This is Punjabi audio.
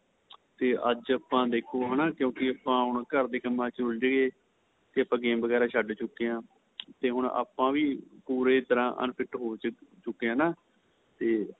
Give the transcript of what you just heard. ਤੇ ਅੱਜ ਆਪਾਂ ਦੇਖੋ ਹੈਨਾ ਕਿਉਂਕਿ ਆਪਾਂ ਹੁਣ ਘਰ ਦੇ ਕੰਮਾਂ ਵਿੱਚ ਉੱਲਝ ਗਏ ਤੇ ਆਪਾਂ game ਵਗੇਰਾ ਛੱਡ ਚੁੱਕੇ ਆਂ ਤੇ ਹੁਣ ਆਪਾਂ ਵੀ ਕੋਲੋ ਤਰ੍ਹਾਂ unfit ਹੋ ਚੁੱਕੇ ਆਂ ਤੇ